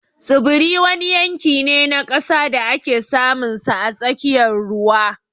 Tsibiri wani yanki ne na ƙasa da ake samunsa a tsakiyar ruwa